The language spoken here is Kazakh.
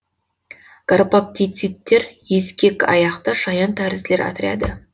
гарпактицидтер ескекаяқты шаянтәрізділер отряды